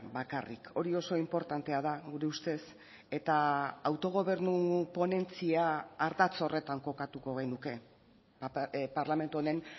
bakarrik hori oso inportantea da gure ustez eta autogobernu ponentzia ardatz horretan kokatuko genuke parlamentu honen